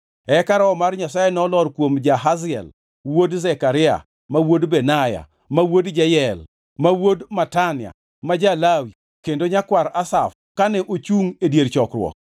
Eka Roho mar Jehova Nyasaye nolor kuom Jahaziel wuod Zekaria ma wuod Benaya, ma wuod Jeyel ma wuod Matania ma ja-Lawi kendo nyakwar Asaf kane ochungʼ e dier chokruok.